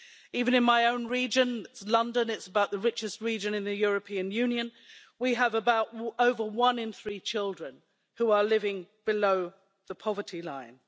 Even in my own region, London, which is just about the richest region in the European Union, we have over one-in-three children who are living below the poverty line.